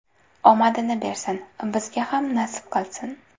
Omadini bersin, bizga ham nasib qilsin”.